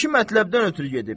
O iki mətləbdən ötrü gedib.